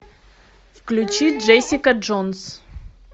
включи джессика джонс